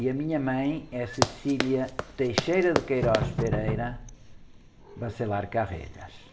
E a minha mãe é.